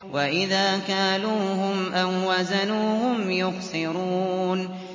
وَإِذَا كَالُوهُمْ أَو وَّزَنُوهُمْ يُخْسِرُونَ